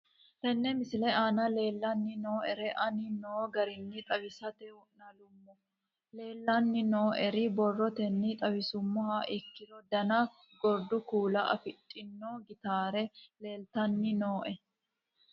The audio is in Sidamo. Tene misile aana leelanni nooerre aane noo garinni xawisate wonaaleemmo. Leelanni nooerre borrotenni xawisummoha ikkiro dana gurdu kuula afidhini Gitare leeltanni nooe.